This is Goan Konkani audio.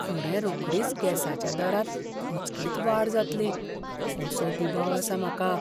फुडें रोखडीच गॅसाच्या दरांत अचकीत वाड जातली असो दुबाव आसा म्हाका.